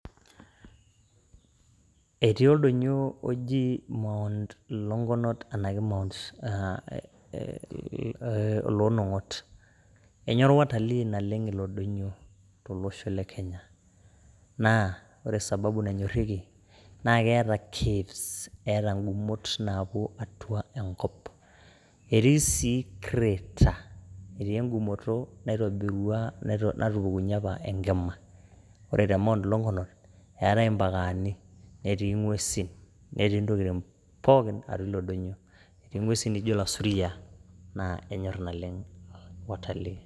Etii oldonyio oji Mount Longonot enaake loo nong'ot, enyorr watalii naleng ilo donyio to losho le Kenya, naa ore sababu nanyorieki naa keeta Caves eeta ngumot naapo atua enkop, etii sii Crater, etii engumoto naitobirua natupukunye apa enkima, ore te Mount Longonot eatai mpakaani, netii ng'wesin netii ntokitin pookin atua ilo donyio, eti ng'wesin nijo lasuriaa naa enyorr naleng watalii.